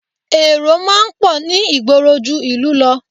Èrò máa ń pọ̀ ní ìgboro ju ìlú lọ